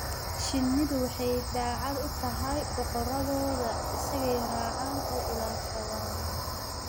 Shinnidu waxay daacad u tahay boqoradooda; isagay raacaan oo ilaashadaan.